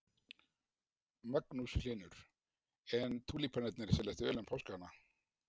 Magnús Hlynur: En túlípanarnir seljast vel um páskana?